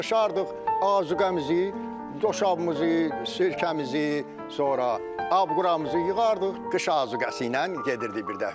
Yığışırdıq azuqəmizi, doşabımızı, sirkəmizi, sonra abquramızı yığardıq, qışa azuqəsi ilə gedirdi birdəfəlik.